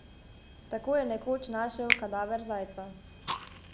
Tako je nekoč našel kadaver zajca.